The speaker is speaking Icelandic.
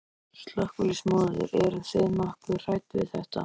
Slökkviliðsmaður: Eruð þið nokkuð hrædd við þetta?